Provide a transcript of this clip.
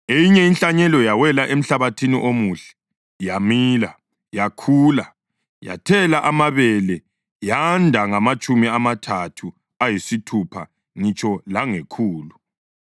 Eyinye inhlanyelo yawela emhlabathini omuhle. Yamila, yakhula, yathela amabele yanda ngamatshumi amathathu, ayisithupha ngitsho langekhulu.”